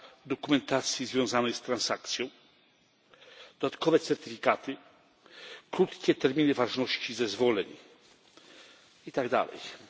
dokumentacji związanej z transakcjami, dodatkowe certyfikaty, krótkie terminy ważności zezwoleń itd.